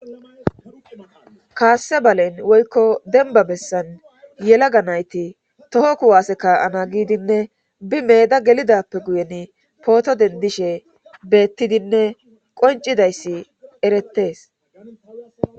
kaasse balen woykko denba bessan yelaga nayti toho kuwase ka7ana giidinne bi meeda gelidappe guyen pooto dendishe beettidinne qoncidayssi erettees